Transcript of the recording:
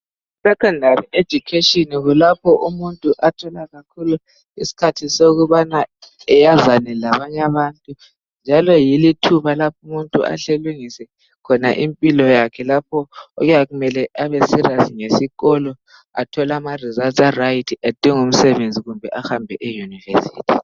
I secondary education kulapho umuntu athola kakhulu isikhathi sokubana ayazane labanye abantu, njalo yilo ithuba lapho umuntu ahle alungise khona impilo yakhe lapho okuyabe kumele abe serious ngesikolo athole ama results a right adinge umsebenzi kumbe abambe e university .